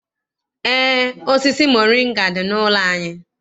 Eé, osisi moringa dị n'ụlọ anyị.